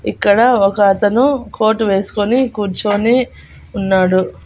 ఇక్కడ ఒక అతను కోటు వేసుకొని కూర్చొని ఉన్నాడు.